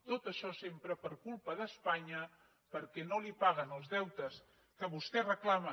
tot això sempre per culpa d’espanya perquè no li paguen els deutes que vostè reclama